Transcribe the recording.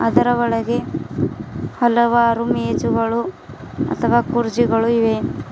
ಅದರ ಒಳಗೆ ಹಲವಾರು ಮೇಜುಗಳು ಅಥವಾ ಕುರ್ಚಿಗಳು ಇವೆ.